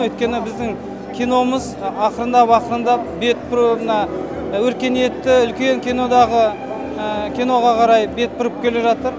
өйткені біздің киномыз ақырындап ақырындап мына өркениетті үлкен кинодағы киноға қарай бет бұрып келе жатыр